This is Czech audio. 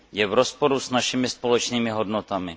Je v rozporu s našimi společnými hodnotami.